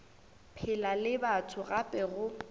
phela le batho gape go